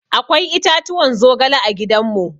Akwai itatuwan zogale a gidan mu.